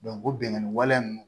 o binganni wale